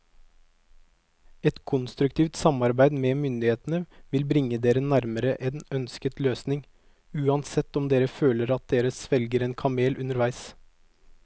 Et konstruktivt samarbeid med myndighetene vil bringe dere nærmere en ønsket løsning, uansett om dere føler at dere svelger en kamel underveis.